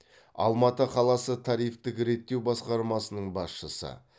алматы қаласы тарифтік реттеу басқармасының басшысы